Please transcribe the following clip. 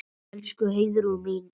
Elsku Heiðrún mín.